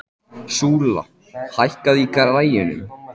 Súla, hækkaðu í græjunum.